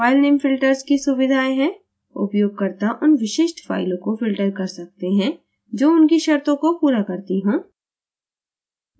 filename filters की सुविधा है – उपयोगकर्ता उन विशिष्ट फ़ाइलों को filters कर सकते हैं जो उनकी शर्तों को पूरा करती हों